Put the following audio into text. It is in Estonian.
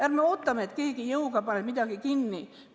Ärme ootame, et keegi jõuga paneb midagi kinni.